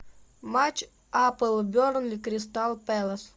матч апл бернли кристал пэлас